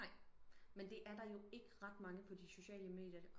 Nej men det er der jo ikke ret mange på de sociale medier